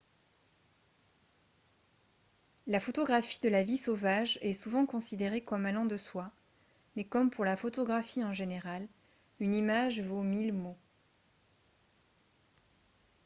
la photographie de la vie sauvage est souvent considérée comme allant de soi mais comme pour la photographie en général une image vaut mille mots